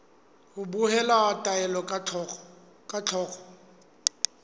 ho behela taelo ka thoko